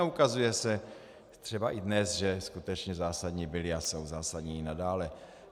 A ukazuje se třeba i dnes, že skutečně zásadní byly a jsou zásadní i nadále.